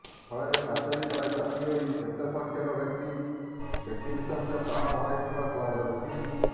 ଫଳରେ ପାଚେରୀ ତଳେ ଚାପି ହୋଇ ଏତେ ସଂଖ୍ୟକ ବ୍ୟକ୍ତି ବ୍ୟକ୍ତିବିଶେଷ ପ୍ରାଣ ହରାଇଥିବା କୁହାଯାଉଛି